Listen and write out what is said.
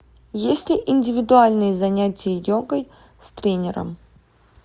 есть ли индивидуальные занятия йогой с тренером